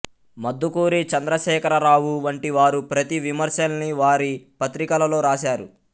మద్దుకూరి చంద్రశేఖరరావు వంటి వారు ప్రతి విమర్శల్ని వారి పత్రికలలో రాశారు